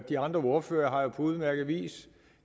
de andre ordførere har jo på udmærket vis